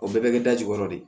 O bɛɛ bɛ kɛ da jukɔrɔ de